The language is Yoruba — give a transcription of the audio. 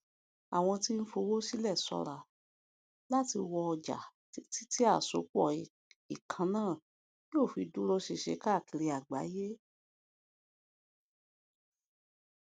àwọn tí ń fowó sílẹ ṣọra láti wọ ọjà títí tí àsopọ ìkànnà yóò fi dúró ṣinṣin káàkiri àgbáyé